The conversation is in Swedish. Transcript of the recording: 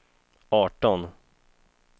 arton